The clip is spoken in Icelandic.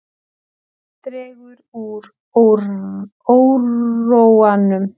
Dregur úr óróanum